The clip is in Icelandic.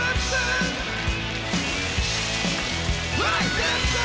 við